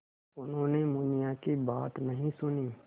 उन्होंने मुनिया की बात नहीं सुनी